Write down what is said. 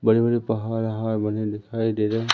बड़े बड़े पहाड़ वाहड बने दिखाई दे रहे--